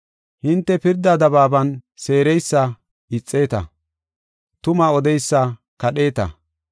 Hintena pirdaa dabaaban seereysa ixeeta; tuma odeysa kadheeta.